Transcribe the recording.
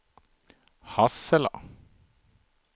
Hassela